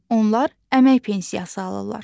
Onlar əmək pensiyası alırlar.